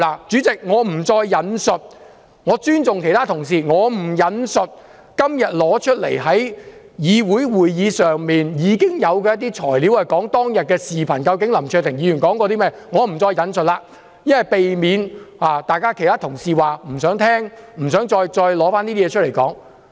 主席，我不引述下去，我尊重其他同事的意見，我不引述今天提交會議的一些資料，以及有關當天林卓廷議員說過甚麼的視頻，避免其他同事說不想聽、不想再談論那些事。